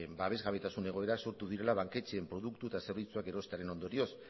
babesgabetasun egoera sortu direla banketxeen produktu eta zerbitzuak erostearen ondorioz